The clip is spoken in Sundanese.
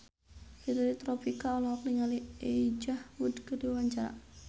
Fitri Tropika olohok ningali Elijah Wood keur diwawancara